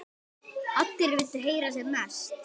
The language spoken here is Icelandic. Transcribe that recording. Allir vildu heyra sem mest.